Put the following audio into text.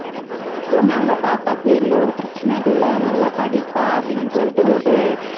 So நம்ம பாப்பாக்கு எந்தவொரு பிரச்சனை இல்ல நல்லா படிப்பா அப்டினு சொல்லிட்டு ஒரு